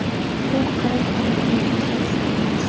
u qaror qabul qiluvchi shaxs ham emas.